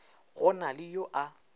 go na le yo a